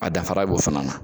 A dafara b'o fana na